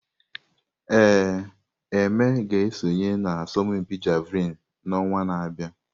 Ee, Eme ga-esonye na asọmpi Javelin n'ọnwa na-abịa.